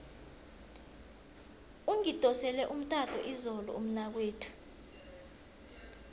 ungidosele umtato izolo umnakwethu